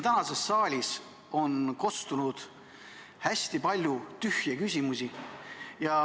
Täna siin saalis on kostnud hästi palju tühje küsimusi.